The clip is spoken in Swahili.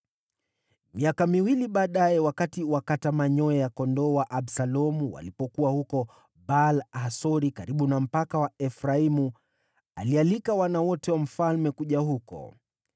Miaka miwili baadaye, wakati wakata manyoya ya kondoo wa Absalomu walipokuwa huko Baal-Hasori karibu na mpaka wa Efraimu, alialika wana wote wa mfalme kuja huko.